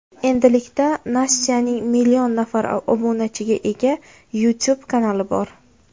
Endilikda Nastyaning million nafar obunachiga ega YouTube kanali bor.